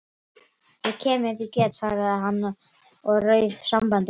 Ég kem ef ég get- svaraði hann og rauf sambandið.